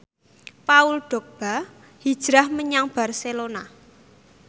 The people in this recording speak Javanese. Paul Dogba hijrah menyang Barcelona